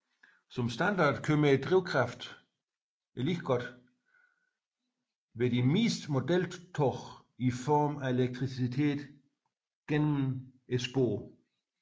Som standard kommer drivkraften dog som ved de fleste modeltog i form af elektricitet gennem sporene